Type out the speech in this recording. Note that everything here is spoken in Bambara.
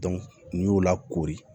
n'i y'o lakori